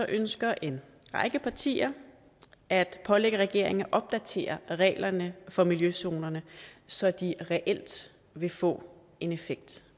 ønsker en række partier at pålægge regeringen at opdatere reglerne for miljøzonerne så de reelt vil få en effekt